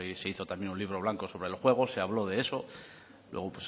se hizo también un libro blanco sobre el juego se habló de eso luego